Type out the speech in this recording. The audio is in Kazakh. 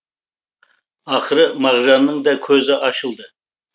ақыры мағжанның да көзі ашылды